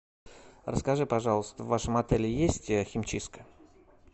расскажи пожалуйста в вашем отеле есть химчистка